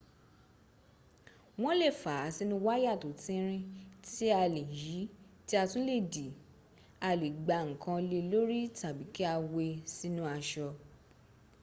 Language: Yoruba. wọ́n lè fàá sínu wáyà tó tínrín tí a lè yí tí a tún lè dì a lè gbá ǹkan le lórí tàbí kí a we sínu aṣọ